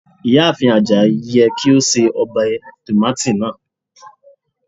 Iyaafin Ajayi yẹ ki o ṣe obe tomati naa